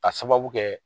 Ka sababu kɛ